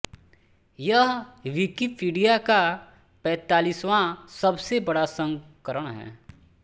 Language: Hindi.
यह विकिपीडिया का पैंतालीसवां सबसे बड़ा संस्करण है